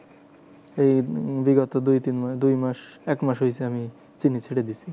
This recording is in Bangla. এই বিগত দুই তিন মাস দুই মাস এক মাস হয়েছে আমি চিনি ছেড়ে দিয়েছি।